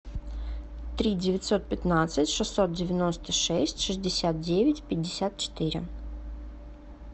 три девятьсот пятнадцать шестьсот девяносто шесть шестьдесят девять пятьдесят четыре